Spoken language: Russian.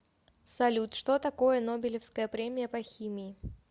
салют что такое нобелевская премия по химии